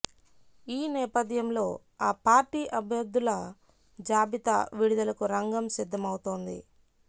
ఈ నేపథ్యంలో ఆ పార్టీ అభ్యర్థుల జాబితా విడుదలకు రంగం సిద్ధమవుతోంది